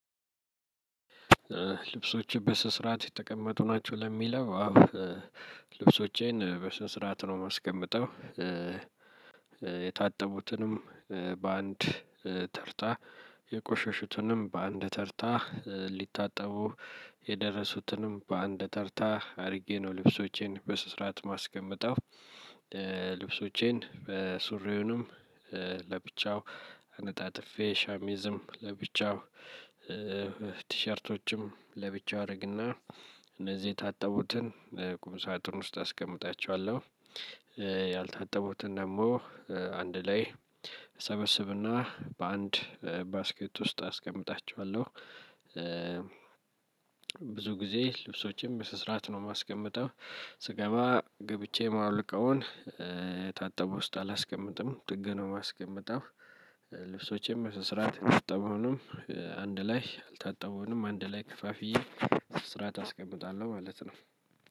ልብሶችን በስነ ስርዓት የተቀመጡ ናቸው ለሚለው አዎ ልብሶቼን በስነ ስርዓት ነው የማስቀምጠው። የታጠቡትንም በአንድ ተርታ የቆሸሹትንም በአንድ ተርታ ሊታጠቡ የደረሱትንም በአንድ ተርታ አድርጌ ነው ልብሶቼን በስነ ስርዓት የማስቀምጠው። ልብሶቼን ሱሪውንም ለብቻው አነጣጥፌ ሸሚዝም ለብቻው ለብቻው አደርግና እነዚህ የታጠቡትን ቁም ሳጥን ውስጥ አስቀምጣቸዋለሁ። ያልታጠቡትን ደግሞ አንድ ላይ ሰበስብና በአንድ ባስኬት ውስጥ አስቀምጣቸዋለሁ። ብዙ ጊዜ ልብሶችም በስነ ስርዓት ነው የማስቀምጠው ስገባ ገብቼ የማወልቀውን የታጠቡ ውስጥ አላስቀምጥም ጥግ ነው የማስቀምጠው። ልብሶቼም በስነ ስርዓት የታጠቡ ቢሆንም አንድ ላይ ያልታጠበውንም አንድ ላይ ከፋፍዬ በስርዓቱ አስቀምጣለሁ ማለት ነው።